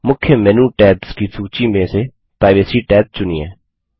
मुख्य menu tabs की सूची में से प्राइवेसी टैब चुनिए